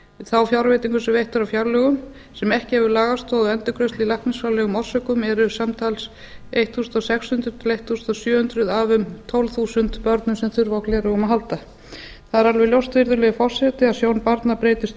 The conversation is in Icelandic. þá fjárveitingu sem veitt er á fjárlögum sem ekki hefur lagastoð á endurgreiðslu í læknisfræðilegum orsökum eru samtals sextán hundruð til sautján hundruð af um tólf þúsund börnum sem þurfa á gleraugum að halda það er alveg ljóst virðulegi forseti að sjón barna breytist